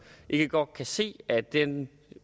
ikke godt kan se at den